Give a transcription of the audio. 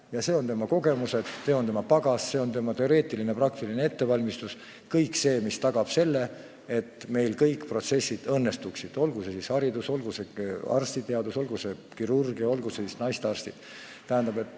Ja siin mängivad kogemused, siin mängib pagas, teoreetiline ja praktiline ettevalmistus – kõik see, mis tagab selle, et protsessid õnnestuksid, olgu tegu haridusega, olgu tegu arstiteadusega, näiteks kirurgia või günekoloogiaga.